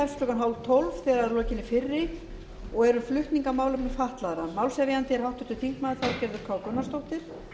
ellefu þrjátíu þegar að lokinni fyrri og er um flutning á málefnum fatlaðra málshefjandi er háttvirtur þingmaður þorgerður k gunnarsdóttir